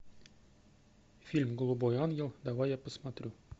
фильм голубой ангел давай я посмотрю